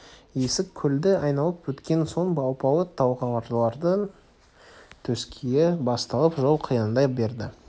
есік көлді айналып өткен соң алпауыт талғардың төскейі басталып жол қиындай берді